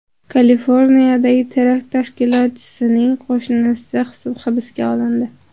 Kaliforniyadagi terakt tashkilotchisining qo‘shnisi hibsga olindi.